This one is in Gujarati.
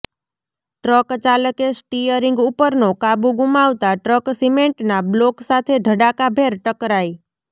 ટ્રક ચાલકે સ્ટિયરિંગ ઉપરનો કાબુ ગુમાવતાં ટ્રક સિમેન્ટના બ્લોક સાથે ધડાકાભેર ટકરાઈ